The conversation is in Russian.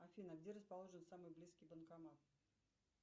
афина где расположен самый близкий банкомат